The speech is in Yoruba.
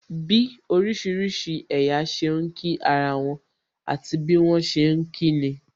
Bí orísìírísìí ẹ̀yà ṣe ń kí ara wọn, àti bí wọn ṣe ni kí nin